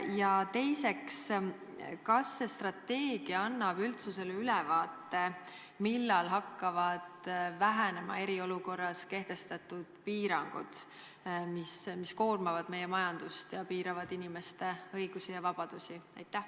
Ja teiseks: kas see strateegia annab üldsusele ülevaate, millal hakkavad vähenema eriolukorras kehtestatud piirangud, mis koormavad meie majandust ja inimeste õigusi ja vabadusi?